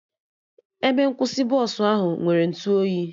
Ebe nkwụsị Bọsụ ahụ nwere ntụ oyi